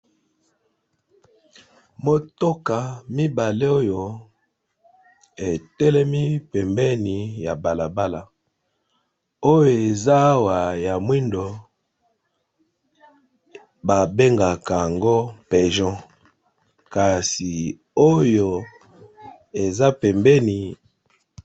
Motoka mibale oyo etelemi pembeni ya balabala oyo eza awa ya mwindo ba bengaka yango pejon kasi oyo eza pembeni.